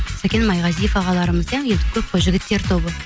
сәкен майғазиев ағаларымыз иә енді көп қой жігіттер тобы